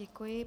Děkuji.